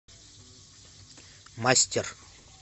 мастер